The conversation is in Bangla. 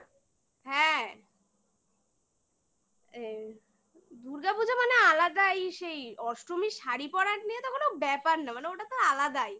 হ্যাঁ দুর্গাপুজা মানে আলাদাই সেই অষ্টমীর শাড়ি পরা নিয়ে তো কোনো ব্যাপার না মানে ওটা তো আলাদাই